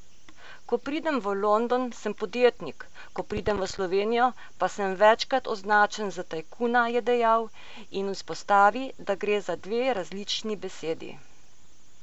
Ko pridem v London, sem podjetnik, ko pridem v Slovenijo, pa sem večkrat označen za tajkuna, je dejal in izpostavi, da gre za dve različni besedi.